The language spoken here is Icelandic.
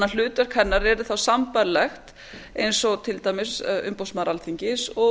hlutverk hennar yrði þá sambærilegt eins og til dæmis umboðsmaður alþingis og